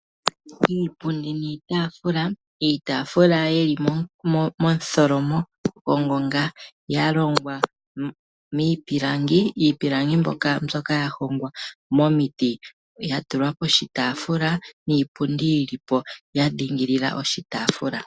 Iipundi niitaafula. Iitaafula yi li momutholomo gongonga ya longwa miipilangi, iipilangi mbyoka ya hongwa momiti ya tulwa poshitaafula niipundi yi li po ya dhingilila oshitaafula.